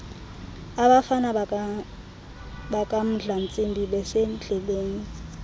abafana bakamdlantsimbi besendleleni